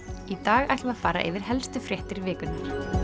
í dag ætlum við að fara yfir helstu fréttir vikunnar